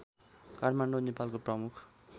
काठमाडौँ नेपालको प्रमुख